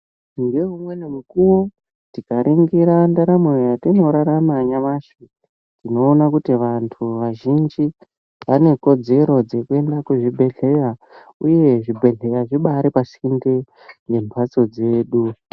Ngeumweni mukuwo, tikaringira ndaramo yatinorarama nyamashi, tinoona kuti vantu vazhinji vane kodzero dzekuenda kuzvibhedhleya, uye zvibhedhleya zvibari pasinde nembatso dzedu.